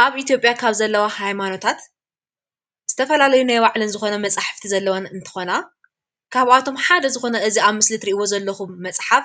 ኣብ ኢትዮጵያ ካብ ዘለዋ ሃይማኖታት ዝተፈላለዩ ናይ ባዕለን ዝኮነ መፅሓፍቲ ዘለዎን እንትኮና ካብኣቶም ሓደ ዝኮነ እዚ ኣብ ምሰሊ እትርእይዎ ዘለኩም መፅሓፍ